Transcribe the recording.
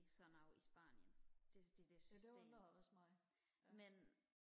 så noget i spanien det det der system men